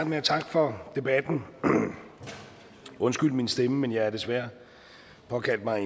med at takke for debatten undskyld min stemme men jeg har desværre pådraget mig